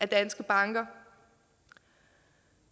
danske banker